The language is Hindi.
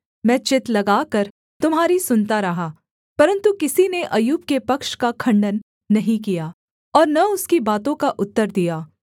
मैं चित्त लगाकर तुम्हारी सुनता रहा परन्तु किसी ने अय्यूब के पक्ष का खण्डन नहीं किया और न उसकी बातों का उत्तर दिया